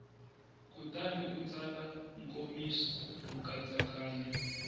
kutani u tsala nkomiso nkatsakanyo